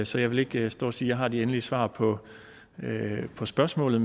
så jeg vil ikke stå og sige at jeg har de endelige svar på på spørgsmålet